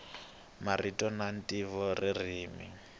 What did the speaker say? marito na ntivo ririmi